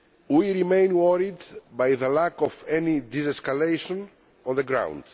We remain worried by the lack of any de escalation on the ground.